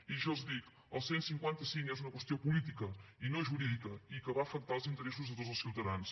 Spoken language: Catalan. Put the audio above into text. i jo els dic el cent i cinquanta cinc és una qüestió política i no jurídica i que va afectar els interessos de tots els ciutadans